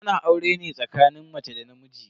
Ana aure ne tsakanin mace da namiji.